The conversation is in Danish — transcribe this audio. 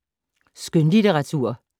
Skønlitteratur